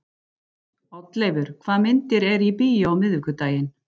Oddleifur, hvaða myndir eru í bíó á miðvikudaginn?